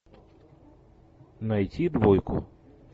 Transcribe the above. найти двойку